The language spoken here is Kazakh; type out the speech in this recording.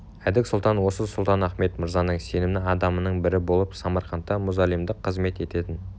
әдік сұлтан осы сұлтан-ахмет мырзаның сенімді адамының бірі болып самарқантта мұзалимдық қызмет ететін